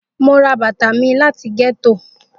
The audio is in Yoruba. Mo ra bata mi lati getto.